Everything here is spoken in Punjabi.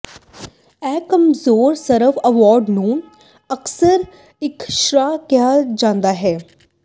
ਇਹ ਕਮਜ਼ੋਰ ਸਵਰ ਅਵਾਰਡ ਨੂੰ ਅਕਸਰ ਇਕ ਸ਼੍ਵਾ ਕਿਹਾ ਜਾਂਦਾ ਹੈ